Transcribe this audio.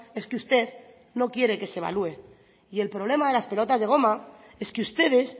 es que usted no quiere que se evalúe y el problema de las pelotas de goma es que ustedes